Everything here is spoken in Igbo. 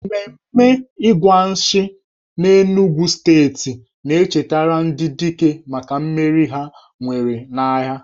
Ememe Igwa Nshi n'Enugwu steeti na-echetara ndị dike maka mmeri ha nwere n'agha.